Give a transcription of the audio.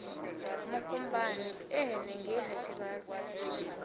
mukumbani e henengei ha tshivhasa